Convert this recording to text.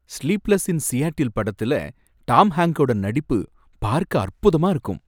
"Sleepless in Seattle" படத்தில Tom ஹாங்க்கோட நடிப்பு பார்க்க அற்புதமா இருக்கும்.